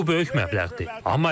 Bu böyük məbləğdir.